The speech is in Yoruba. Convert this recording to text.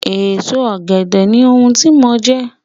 Èso Ọ̀gẹ̀dẹ̀ ni ohun tí mò ń jẹ